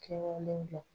Kɛwale kɛ